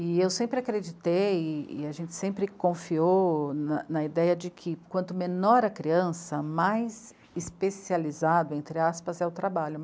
E eu sempre acreditei e a gente sempre confiou na na ideia de que quanto menor a criança, mais especializado, entre aspas, é o trabalho.